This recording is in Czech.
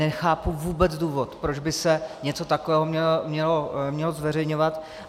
Nechápu vůbec důvod, proč by se něco takového mělo zveřejňovat.